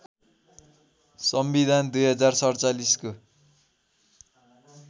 संविधान २०४७ को